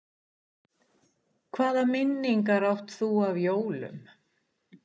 Hvaða minningar átt þú af jólum?